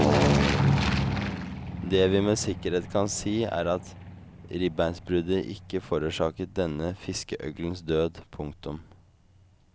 Det vi med sikkerhet kan si er at ribbeinsbruddet ikke forårsaket denne fiskeøglens død. punktum